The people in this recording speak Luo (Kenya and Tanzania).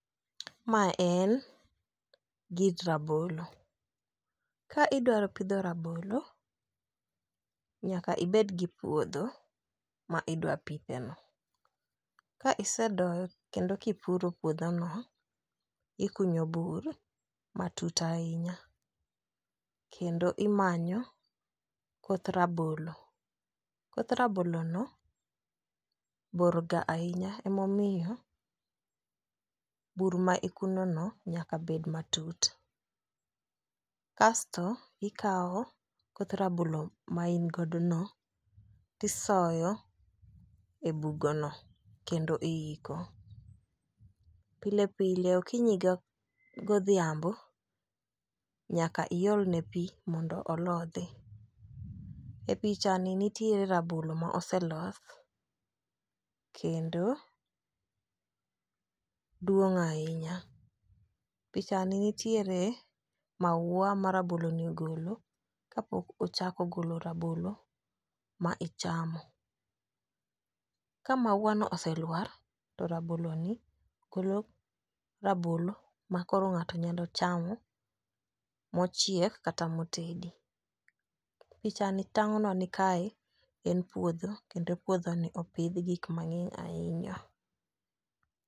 Mae en gir rabolo ka idwaro pidho rabolo nyaka ibed gi puodho ma idwa pithe no. Ka isedoye kendo kipuro puodho no, ikunyo bur matut ahinya kendo imanyo koth rabolo, koth rabolo no bor ga ahinya emomiyo bur ma ikuno no nyaka bet matut. Kasto ikawo koth rabolo ma in godo no tisoyo e bugo no kendo iiko. Pile pile okinyi ga odhiambo nyaka iolne pii mondo olodhi. E picha ni nitiere rabolo ma oseloth kendo duong' ahinya. Picha ni nitiere maua ma rabolo ni ogolo ka pok ochako golo rabolo ma ichamo. Ka maua no oselwar to rabolo ni golo rabolo ma koro ng'ato nyalo chamo mochiek kata motedi .picha ni tang'o nwa ni kae en puodho kendo puodho ni opidh gik mang'eny ahinya.